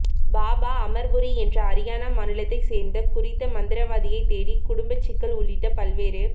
பாபா அமர்புரி என்ற அரியானா மாநிலத்தைச் சேர்ந்த குறித்த மந்திரவாதியை தேடி குடும்ப சிக்கல் உள்ளிட்ட பல்வேறு